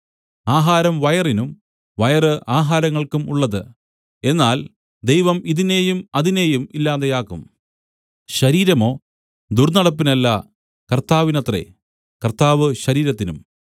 ആഹാരം വയറിനും വയറ് ആഹാരങ്ങൾക്കും ഉള്ളത് എന്നാൽ ദൈവം ഇതിനെയും അതിനെയും ഇല്ലാതെയാക്കും ശരീരമോ ദുർന്നടപ്പിനല്ല കർത്താവിനത്രേ കർത്താവ് ശരീരത്തിനും